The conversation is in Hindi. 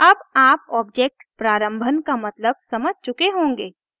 अब आप ऑब्जेक्ट प्रारम्भन initialization का मतलब समझ चुके होंगे